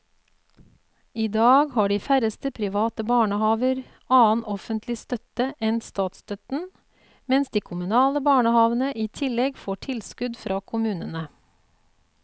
I dag har de færreste private barnehaver annen offentlig støtte enn statsstøtten, mens de kommunale barnehavene i tillegg får tilskudd fra kommunene.